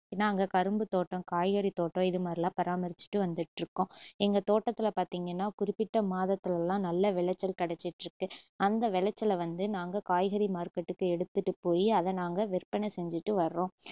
நாங்க கரும்புத்தோட்டம், காய்கறி தோட்டம் இதுமாதிரிலாம் பராமறிச்சுட்டு வந்துட்டுருக்கோம் எங்க தோட்டத்துல பாத்திங்கன்னா குறிப்பிட்ட மாதத்துல எல்லாம் நல்ல விளைச்சல் கிடச்சுட்டுருக்கு அந்த விளச்சல நாங்க காய்கறி market க்கு எடுத்துட்டு போய் அதை நாங்க விற்பனை செஞ்சுட்டு வர்றோம்